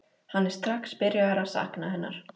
Hann er strax byrjaður að sakna hennar.